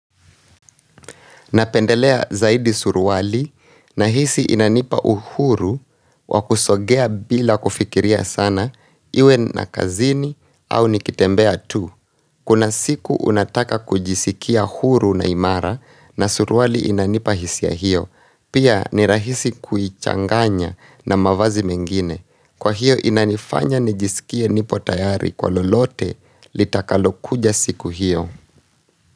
Napendelea zaidi suruwali na hisi inanipa uhuru wa kusogea bila kufikiria sana iwe ya kazini au nikitembea tu. Kuna siku nataka kujisikia huru na imara na suruwali inanipa hisi ya hiyo. Pia ni rahisi kuichanganya na mavazi mengine. Kwa hiyo inanifanya nijisikie nipo tayari kwa lolote litakalokuja siku hiyo.